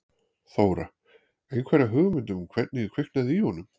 Þóra: Einhverja hugmynd um hvernig kviknaði í honum?